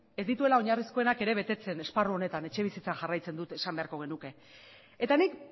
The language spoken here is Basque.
ez dituela oinarrizkoenak ere betetzen esparru honetan etxebizitzan jarraitzen dut esan beharko genuke eta nik